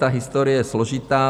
Ta historie je složitá.